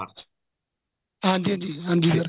ਹਾਂਜੀ ਹਾਂਜੀ ਹਾਂਜੀ sir